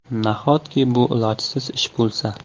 Nahotki bu ilojsiz ish bo‘lsa?